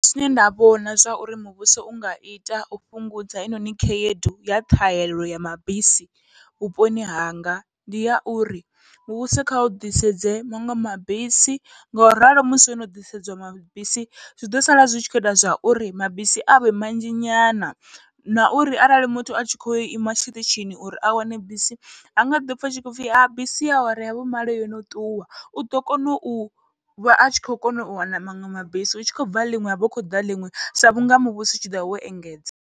Zwine nda vhona zwa uri muvhuso unga ita u fhungudza heinoni khaedu ya ṱhahelelo ya mabisi vhuponi hanga, ndi ya uri muvhuso kha u ḓisedze maṅwe mabisi ngauralo musi hono ḓisedziwa mabisi zwiḓo sala zwi tshi kho ita zwa uri mabisi avhe manzhi nyana, na uri arali muthu atshi khou ima tshiṱitshini uri a wane bisi hanga ḓopfha hu tshipfhi bisi ya awara ya vhumalo yono ṱuwa, uḓo kona u vha atshi khou kona u wana maṅwe mabisi hu tshi khou bva ḽiṅwe havha hu khou ḓa ḽiṅwe sa vhunga muvhuso utshi ḓovha wo engedza.